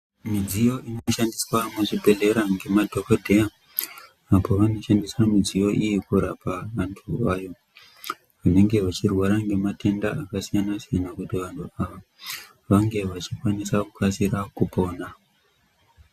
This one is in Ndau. Midziyo inoshandiswa muzvibhedhlera ngemadhokodheya apo vanoshandisa midziyo iyi kurapa anthu ayo anenge echirwara ngematenda akasiyana siyana kuti vanthu ava vange vachikasira kupona.